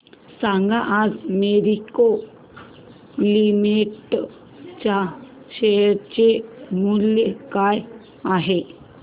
सांगा आज मॅरिको लिमिटेड च्या शेअर चे मूल्य काय आहे